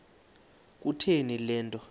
kutheni le nto